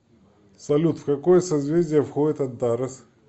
салют в какое созвездие входит антарес